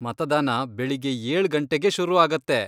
ಮತದಾನ ಬೆಳಿಗ್ಗೆ ಏಳ್ ಗಂಟೆಗೆ ಶುರು ಆಗತ್ತೆ.